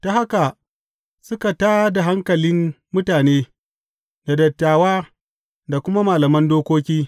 Ta haka suka tā da hankalin mutane da dattawa da kuma malaman dokoki.